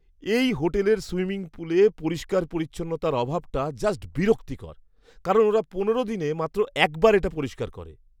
এই হোটেলের সুইমিং পুলে পরিষ্কার পরিচ্ছন্নতার অভাবটা জাস্ট বিরক্তিকর কারণ ওরা পনেরো দিনে মাত্র একবার এটা পরিষ্কার করে!